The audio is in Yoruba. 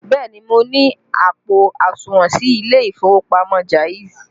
Bẹẹ ni, mo ní àpò àsùnwọ̀n sí ilé ìfowópamọ́ Jaiz